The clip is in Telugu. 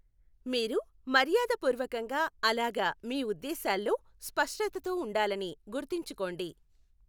మీరు మర్యాదపూర్వకంగా అలాగ మీ ఉద్దేశాల్లో స్పష్టతతో ఉండాలని గుర్తుంచుకోండి.